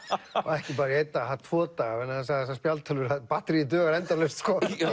ekki bara í einn dag það þarf tvo daga vegna þess að þessar spjaldtölvur batteríið dugar endalaust og